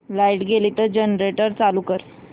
light गेली तर generator चालू कर